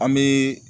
An bɛ